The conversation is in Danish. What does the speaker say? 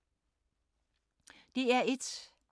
DR1